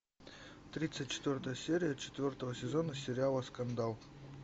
тридцать четвертая серия четвертого сезона сериала скандал